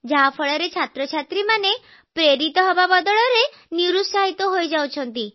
ଯାହା ଫଳରେ ଛାତ୍ରଛାତ୍ରୀମାନେ ପ୍ରେରଣା ପାଇବା ବଦଳରେ ନିରୁତ୍ସାହିତ ହୋଇଯାଉଛନ୍ତି